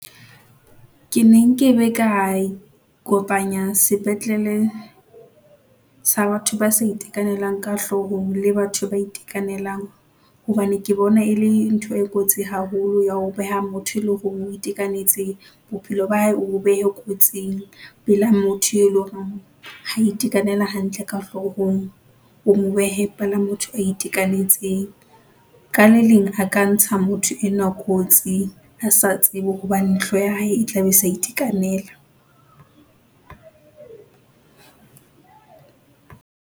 Ke ne nkebe ka, kopanya sepetlele sa batho ba sa itekanelang ka hlohong le batho ba itekanelang, hobane ke bona e le ntho e kotsi haholo ya ho beha motho e leng hore o itekanetse bophelo ba hae, o bo behe kotsing. Pela motho e leng hore ha itekanela hantle ka hlohong, o mo behe pela motho o itekanetseng. Ka le leng a ka ntsha motho enwa kotsi a sa tsebe hobane hloho ya hae e tla be e sa itekanela.